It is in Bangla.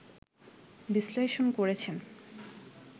বিশ্লেষণ করেছেন